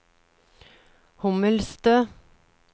Hommelstø